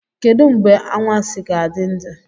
Kedu mgbe anwansi ga-adị adị?